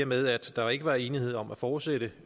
med at der ikke var enighed om at fortsætte